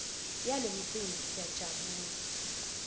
yalo mcimbi siyajabula